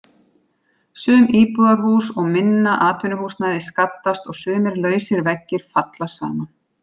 Sum íbúðarhús og minna atvinnuhúsnæði skaddast og sumir lausir veggir falla saman.